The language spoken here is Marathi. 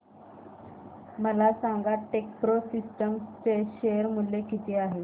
मला सांगा टेकप्रो सिस्टम्स चे शेअर मूल्य किती आहे